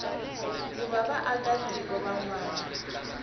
ku va vaakatiko van wana